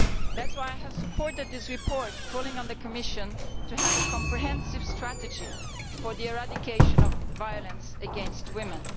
That is why I have supported this report calling on the Commission to create a comprehensive strategy for the eradication of violence against women.